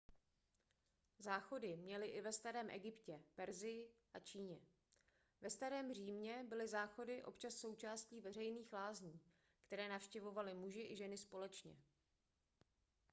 záchody měli i ve starém egyptě persii a číně ve starém římě byly záchody občas součástí veřejných lázní které navštěvovali muži i ženy společně